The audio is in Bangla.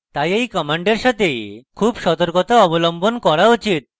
তাই এই command সাথে খুব সতর্কতা অবলম্বন করা উচিত